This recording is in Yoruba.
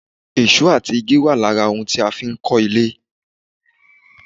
Èsó àti igi wà lára ohun tí a fi ń ka ilé